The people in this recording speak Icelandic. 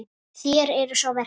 Þér eruð sá versti.